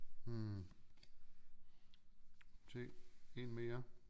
Hm tag en mere